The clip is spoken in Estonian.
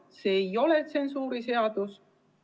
Aga see ei ole tsensuuriseadus.